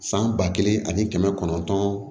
San ba kelen ani kɛmɛ kɔnɔntɔn